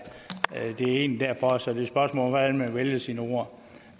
det er egentlig derfor så det er et spørgsmål om hvordan man vælger sine ord